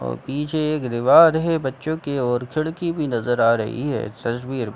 और पीछे एक दीवाल है बच्चों के और खिड़की भी नजर आ रही है इस तस्वीर मे।